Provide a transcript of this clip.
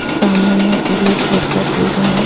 सामने में blue colour का बेरिंग है.